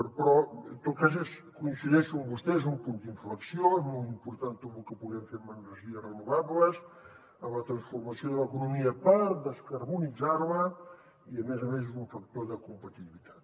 però en tot cas coincideixo amb vostè és un punt d’inflexió és molt important tot lo que puguem fer amb energies renovables amb la transformació de l’economia per descarbonitzar la i a més a més és un factor de competitivitat